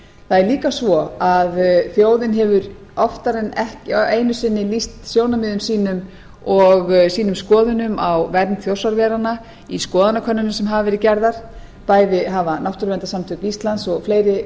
er líka svo að þjóðin hefur oftar en einu sinni lýst sjónarmiðum sínu og sínum skoðunum á vernd þjórsáveranna í skoðanakönnunum sem hafa verið gerðar bæði hafa náttúrverndarsamtök íslands og fleiri